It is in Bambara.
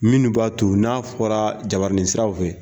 Minnu b'a to n'a fɔra jabaranin siraw fɛ